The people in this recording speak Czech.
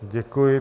Děkuji.